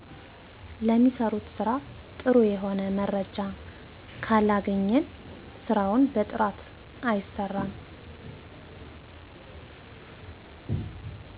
ለሚሰሩት ስራ ጥሩ የሆነ መረጃ ካለገኘን ስራው በጥራት አይሰራም